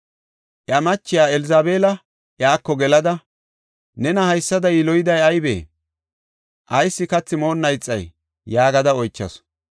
Iya machiya Elzabeela iyako gelada, “Nena haysada yiloyiday aybee? Ayis kathi moonna ixay?” yaagada oychasu.